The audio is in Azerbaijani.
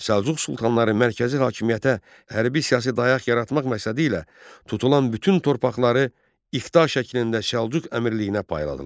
Səlcuq sultanları mərkəzi hakimiyyətə hərbi siyasi dayaq yaratmaq məqsədilə tutulan bütün torpaqları iqta şəklində Səlcuq əmirliyinə payladılar.